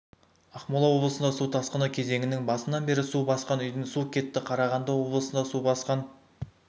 ақмола облысында су тасқыны кезеңінің басынан бері су басқан үйдің су кетті қарағанды облысында су басқан